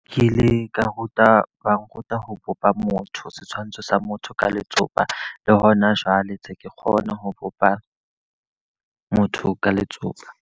Ke ile ka ruta ba nruta ho bopa motho, setshwantsho sa motho ka letsopa. Le ho na jwale ntse ke kgona ho bopa motho ka letsopa.